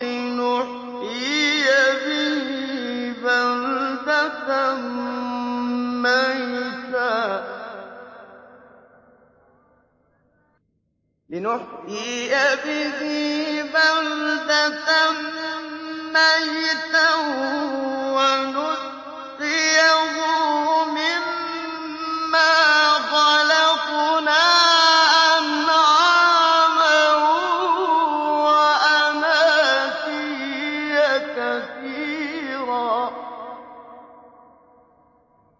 لِّنُحْيِيَ بِهِ بَلْدَةً مَّيْتًا وَنُسْقِيَهُ مِمَّا خَلَقْنَا أَنْعَامًا وَأَنَاسِيَّ كَثِيرًا